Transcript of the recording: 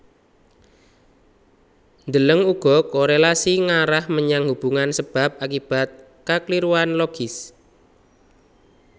Deleng uga korélasi ngarah menyang hubungan sebab akibat kakliruan logis